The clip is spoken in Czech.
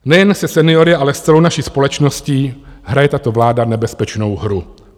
Nejen se seniory, ale s celou naší společností hraje tato vláda nebezpečnou hru.